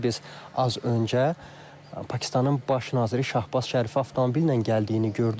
Biz az öncə Pakistanın Baş naziri Şahbaz Şərifin avtomobillə gəldiyini gördük.